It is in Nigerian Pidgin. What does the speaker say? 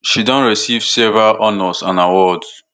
she don receive several honors and awards